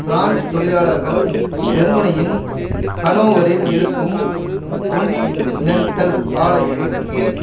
France தொழிலாளர்கள் ஜெர்மனியின் ஹனோவரில் இருக்கும் கொன்டினென்டல் ஆலைக்கு